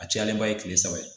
A cayalenba ye kile saba ye